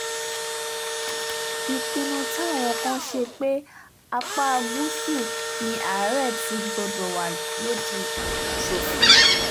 ìpinnu táwọn kan ṣe pé apá gúúsù ni àárẹ̀ ti gbọ́dọ̀ wà lòdì sófin